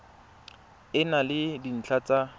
e na le dintlha tsa